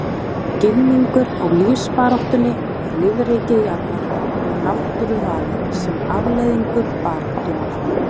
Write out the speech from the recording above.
Skilningur á lífsbaráttunni í lífríki jarðar og náttúruvali sem afleiðingu baráttunnar.